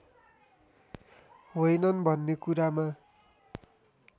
होइनन् भन्ने कुरामा